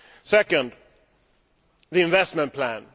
Secondly the investment plan.